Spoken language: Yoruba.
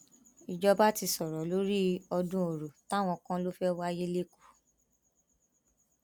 ìjọba ti sọrọ lórí ọdún ọrọ táwọn kan lọ fẹẹ wáyé lẹkọọ